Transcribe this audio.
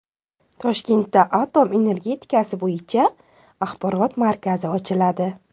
Toshkentda atom energetikasi bo‘yicha axborot markazi ochiladi.